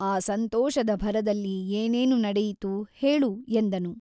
ಆ ಸಂತೋಷದ ಭರದಲ್ಲಿ ಏನೇನು ನಡೆಯಿತು ಹೇಳು ಎಂದನು.